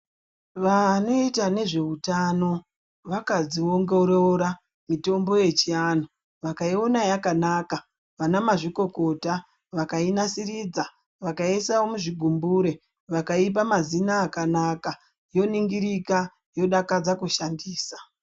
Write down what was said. Vanoita nezveutano vakadziongorora mutombo yechianhu vakaiona yakanaka vana mazvikokota vakainasiridza vakaiisa muzvigumbure vakaipa mazina akanaka yoningirika yodakadza kushandisa.